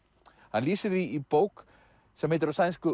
hann lýsir því í bók sem heitir á sænsku